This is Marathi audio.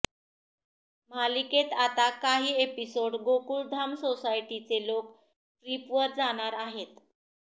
मालिकेत आता काही एपिसोड गोकुळधाम सोसायटीचे लोक ट्रिपवर जाणार आहेत